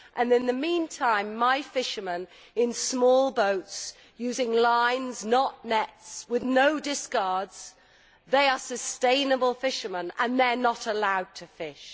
In the meantime my local fishermen in small boats using lines, not nets, with no discards they are sustainable fishermen are not allowed to fish.